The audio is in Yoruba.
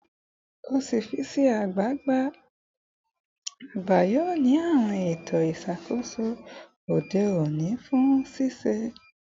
Ọfiisi ọga agba yoo ni awọn eto iṣakoso ode oni fun ṣiṣe